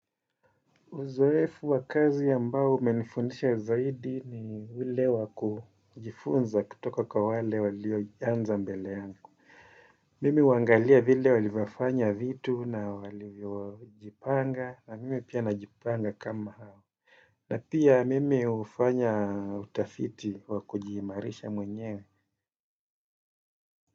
Uzoefu wa kazi ambao umenifundisha zaidi ni ule wa kujifunza kutoka kwa wale walioanza mbele yangu. Mimi huangalia vile walivyofanya vitu na walivyojipanga na mimi pia najipanga kama hawa. Na pia mimi hufanya utafiti wakujiimarisha mwenyewe.